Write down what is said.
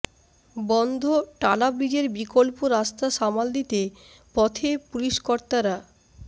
বন্ধ টালা ব্রিজের বিকল্প রাস্তা সামাল দিতে পথে পুলিশকর্তারা